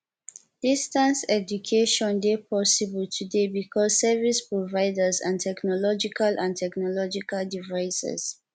distance education de possible today because service providers and technological and technological devices